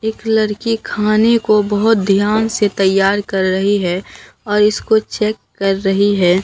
एक लड़की खाने को बहोत ध्यान से तैयार कर रही है और इसको चेक कर रही है।